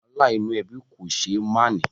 Wàhálà inú ẹbí kò ṣé é máà ní